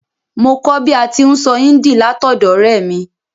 Mo kó bi a ti n sọ Hindi látọ̀dọ̀ ọ̀rẹ́ mi